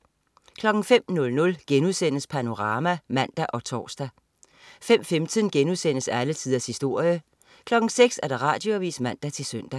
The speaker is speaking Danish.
05.00 Panorama* (man og tors) 05.15 Alle tiders historie* 06.00 Radioavis (man-søn)